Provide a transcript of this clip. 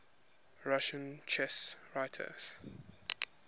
russian chess writers